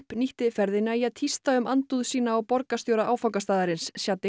nýtti ferðina í að tísta um andúð sína á borgarstjóra áfangastaðarins